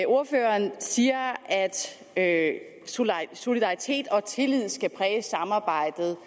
ordføreren siger at at solidaritet og tillid skal præge samarbejdet